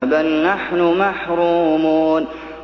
بَلْ نَحْنُ مَحْرُومُونَ